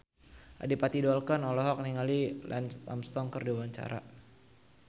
Adipati Dolken olohok ningali Lance Armstrong keur diwawancara